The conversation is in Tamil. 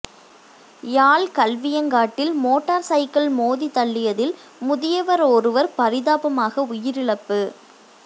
யாழ் கல்வியங்காட்டில் மோட்டார் சைக்கிள் மோதித் தள்ளியதில் முதியவவெராருவர் பரிதாபகரமாக உயிரிழப்பு